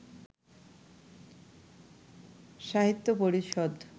সাহিত্য পরিষদ